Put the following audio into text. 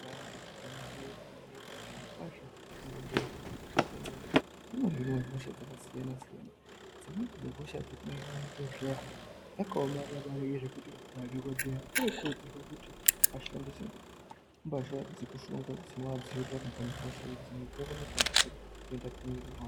Ibari gwinyiso yemene zvirokwazvo muzvibhedhleya mwatiri kuenda umwu munohinwa hosha dzakasiyana siyana, dzimweni dzehosha dzinoitwa muzvibhedhleya dzakaomarara maningi zvekuti madhokodheya anokurudzirwa kuti ashandise mbahla dzekushonga dzinoadziirira kubva muhosha idzi dzimwe dzinokona kutapukira kuenda mumwiri mwavo.